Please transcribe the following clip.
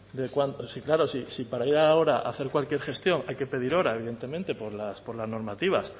de cuándo si claro si para ir ahora a hacer cualquier gestión hay que pedir hora evidentemente por las normativas